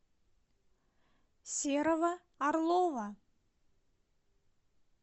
серого орлова